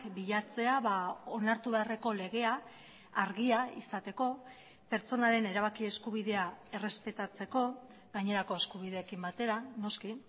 bilatzea onartu beharreko legea argia izateko pertsonaren erabaki eskubidea errespetatzeko gainerako eskubideekin batera noski